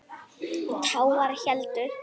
Tágar héldu.